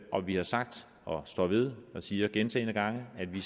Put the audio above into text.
og vi har sagt og står ved og siger gentagne gange at vi